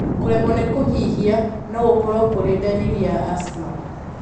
Kuremwo ni kuhihia nogũkorwo kuri dariri ya asthma